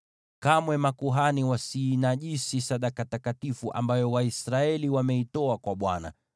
Kamwe makuhani wasiinajisi sadaka takatifu ambayo Waisraeli wameitoa kwa Bwana